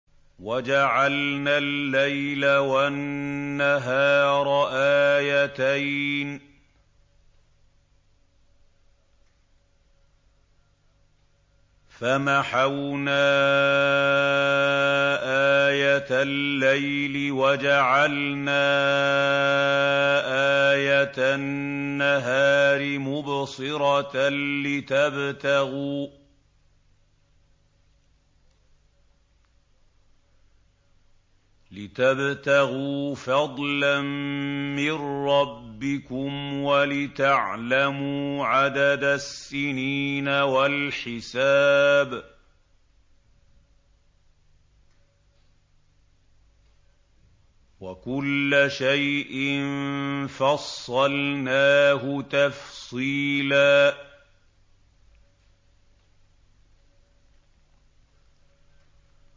وَجَعَلْنَا اللَّيْلَ وَالنَّهَارَ آيَتَيْنِ ۖ فَمَحَوْنَا آيَةَ اللَّيْلِ وَجَعَلْنَا آيَةَ النَّهَارِ مُبْصِرَةً لِّتَبْتَغُوا فَضْلًا مِّن رَّبِّكُمْ وَلِتَعْلَمُوا عَدَدَ السِّنِينَ وَالْحِسَابَ ۚ وَكُلَّ شَيْءٍ فَصَّلْنَاهُ تَفْصِيلًا